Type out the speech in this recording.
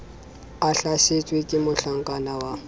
a hlasetswe ke mohlakana wa